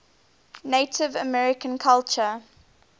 native american culture